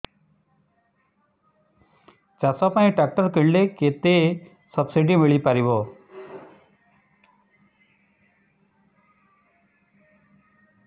ଚାଷ ପାଇଁ ଟ୍ରାକ୍ଟର କିଣିଲେ କେତେ ସବ୍ସିଡି ମିଳିପାରିବ